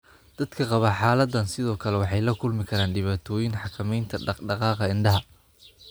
Dadka qaba xaaladdan sidoo kale waxay la kulmi karaan dhibaatooyin xakamaynta dhaqdhaqaaqa indhaha.